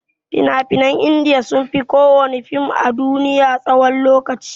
Fina-finan india sunfi kowana fim a duniya tsawan lokaci.